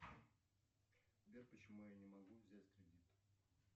сбер почему я не могу взять кредит